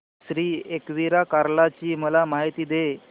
श्री एकविरा कार्ला ची मला माहिती दे